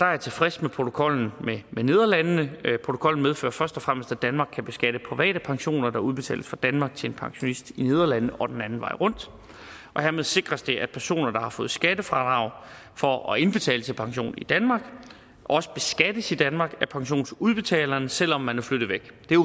er tilfreds med protokollen med nederlandene protokollen medfører først og fremmest at danmark kan beskatte private pensioner der udbetales fra danmark til en pensionist i nederlandene og den anden vej rundt og hermed sikres det at personer der har fået skattefradrag for at indbetale til pension i danmark også beskattes i danmark af pensionsudbetaleren selv om man er flyttet væk det er